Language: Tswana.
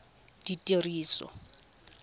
ditiriso